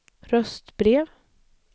röstbrev